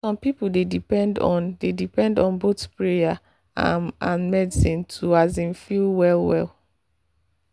some people dey depend on dey depend on both prayer um and medicine to um feel well well.